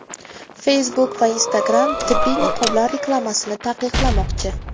Facebook va Instagram tibbiy niqoblar reklamasini taqiqlamoqchi .